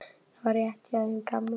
Og það var rétt hjá þeim gamla.